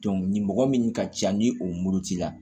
nin mɔgɔ min ka ca ni o murutira